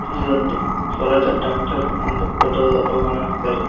ಇದೊಂದು ಸ್ವರಾಜ ಟ್ರ್ಯಾಕ್ಟರ್ ಅಂದು ದೊಡ್ಡದಾದ ಲೋಗೋ ವನ್ನು ಹಾಕಿದ್ದಾರೆ.